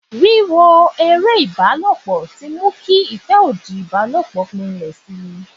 Wiwo ìbálòpọ̀ tí mú kí ìfẹ́ òdì ìbálòpọ̀ gbinlẹ̀ si.